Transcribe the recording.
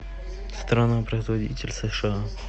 страна производитель сша